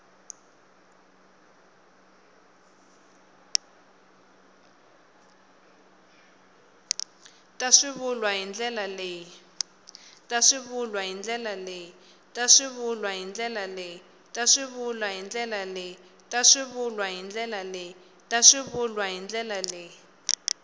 ta swivulwa hi ndlela leyi